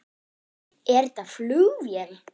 Er þetta flugvél?